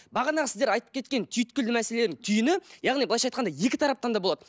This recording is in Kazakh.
бағанағы сіздер айтып кеткен түйткілді мәселелердің түйіні яғни былайша айтқанда екі тараптан да болады